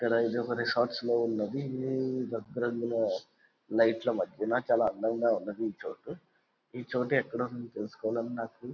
ఇక్కడ లైట్ లా మధ్యన చాలా అందంగా ఉన్నది ఈ చోటు. ఈ చోటు ఎక్కడ ఉన్నదో తెలుసుకోవాలని--